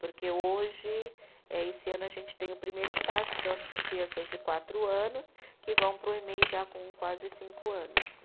Porque hoje, eh esse ano, a gente tem o primeiro estágio, que são as crianças de quatro anos, que vão para o Emei já com quase cinco anos.